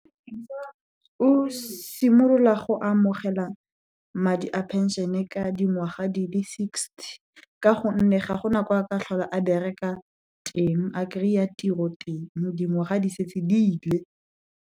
O simolola go amogela madi a phenšene ka dingwaga di le sixty ka gonne, ga go na kwa a ka tlhola a bereka teng, a kry-a tiro teng, dingwaga di setse dile.